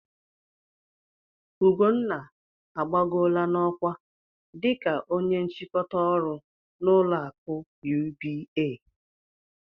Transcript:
Ugonna agbagoola n'ọkwa dika ónye nchịkọta ọrụ n'ụlọ akụ UBA.